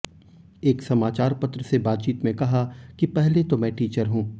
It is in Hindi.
एक समाचार पत्र से बातचीत में कहा कि पहले तो मैं टीचर हूं